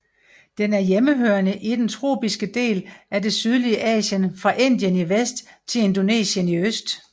Den er hjemmehørende i den tropiske del af det sydlige Asien fra Indien i vest til Indonesien i øst